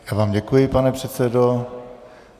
Já vám děkuji, pane předsedo.